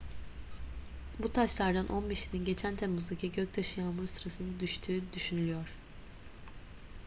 bu taşlardan on beşinin geçen temmuz'daki göktaşı yağmuru sırasında düştüğü düşünülüyor